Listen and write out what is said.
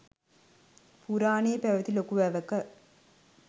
පුරාණයේ පැවැති ලොකු වැවක